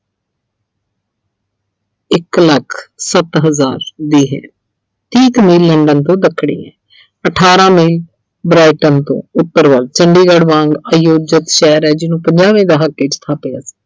ਇੱਕ ਲੱਖ ਸੱਤ ਹਜ਼ਾਰ London ਤੋਂ jBrighton ਤੋਂ ਉੱਤਰ ਵੱਲ ਚੰਡੀਗੜ੍ਹ ਵਾਂਗ ਆਯੋਜਿਤ ਸ਼ਹਿਰ ਐ ਜਿਹਨੂੰ ਪੰਜਾਹਵੇਂ ਦਹਾਕੇ ਚ ਥਾਪਿਆ ਸੀ।